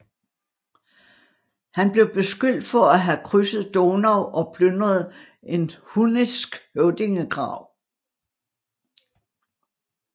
Han blev beskyldt for at have krydset Donau og plyndret en hunnisk høvdingegrav